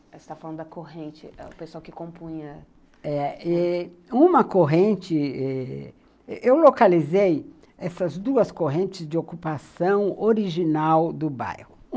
Você está falando da corrente, o pessoal que compunha... Uma corrente... Eu localizei essas duas correntes de ocupação original do bairro.